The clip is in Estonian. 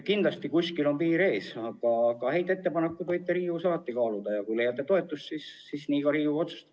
Kindlasti on kuskil piir ees, aga häid ettepanekuid võite Riigikogus alati kaaluda ja kui leiate toetust, siis nii ka Riigikogu otsustab.